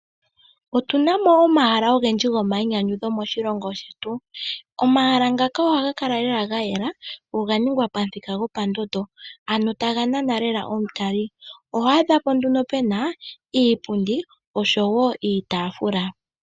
Otu na mo omahala ogendji omahala ogendji go mayinyanyudho moshilongo shetu . Omahala ngaka ohaga kala gayela go ga ningwa pomuthika gopondondo ano taga nana lela aataleli. Oho adhapo nduno pena iipundi oshowo iitaafula.